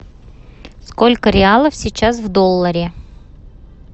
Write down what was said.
сколько реалов сейчас в долларе